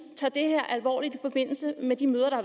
tager det her alvorligt i forbindelse med de møder der